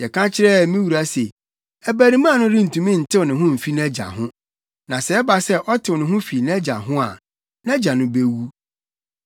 Yɛka kyerɛɛ me wura se, ‘Abarimaa no rentumi ntew ne ho mfi nʼagya ho. Na sɛ ɛba sɛ ɔtew ne ho fi nʼagya ho a, nʼagya no bewu.’